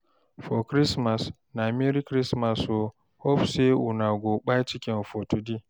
for christmas na "merry christmas o, hope say una go kpai chicken for today?"